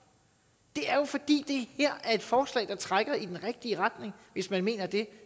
det er jo fordi det her er et forslag der trækker i den rigtige retning hvis man mener det